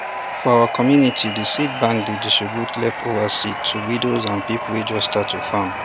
for our community the seed bank dey distribute leftover seeds to widows and people wey just start to farm